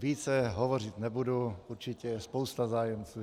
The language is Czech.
Více hovořit nebudu, určitě je spousta zájemců.